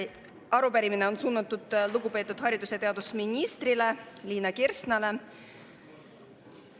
Arupärimine on suunatud lugupeetud haridus‑ ja teadusministrile Liina Kersnale.